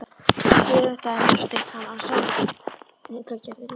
Ekki öfundaði Marteinn hann af samningagerðinni.